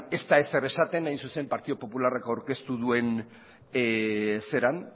ez da ezer esaten hain zuzen partidu popularrak aurkeztu duen